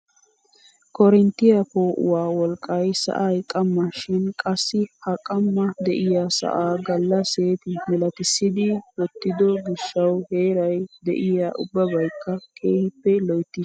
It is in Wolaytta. Korinttiyaa poo'uwaa wolqqay sa'ay qamma shin qassi ha qamma de'iyaa sa'a galla seeti milatisiidi wottido gishshawu heeray de'iyaa ubbabakka keehippe loyttiis.